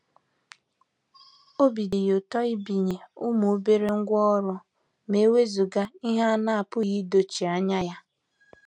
Obi dị ya ụtọ ibinye ụmụ obere ngwá ọrụ ma ewezuga ihe a na-apụghị idochie anya ya.